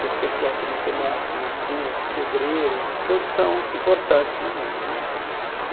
Pessoas que gostam de matemática, medicina, o outro é pedreiro, todos são importantes no mundo né.